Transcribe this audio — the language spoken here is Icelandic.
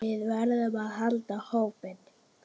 Við verðum að halda hópinn!